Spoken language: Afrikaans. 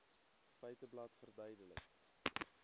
feiteblad verduidelik